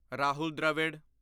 Rahul Dravid